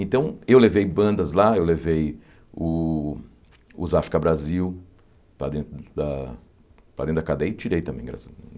Então, eu levei bandas lá, eu levei o os África Brasil para dentro da para dentro da cadeia e tirei também, graças a Deus.